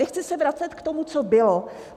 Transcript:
Nechci se vracet k tomu, co bylo.